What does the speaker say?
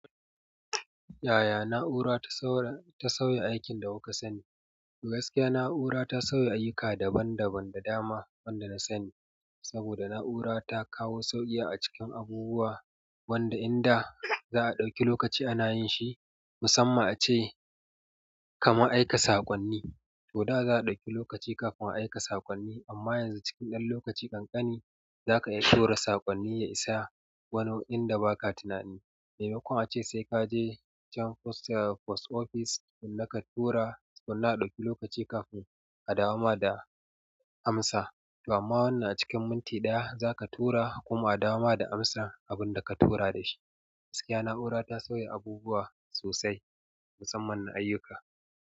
Yaya na'ura ta sauya aikin da kuka sani? Gaskiya na'ura ta sauya ayyuka daban-daban da dama wanda na sani. Saboda na'ura ta kawo sauƙi a cikin abubuwa wanda in da' za'a ɗauki lokaci ana yin shi. Musamman ace kaman aika saƙonni tor da' za a ɗauke lokaci kafin a aika saƙonni amma yanzu cikin lokaci ƙanƙani za ka iya tura saƙonni ya isa inda baka tunani memakon ace sai ka je can post office tukuna ka tura sannan a ɗauki lokaci kafin a dawo ma da amsa. To amma wannan a cikin minti ɗaya za ka tura kuma a dawo ma da amsan abun da ka tura dashi. Gaskiya na'ura ta sauya abubuwa sosai musamman na ayyuka.